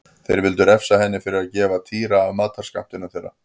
Þeir vildu refsa henni fyrir að gefa Týra af matarskammtinum þeirra.